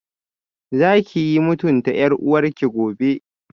Zakiyi mutunta yar uwarki gobe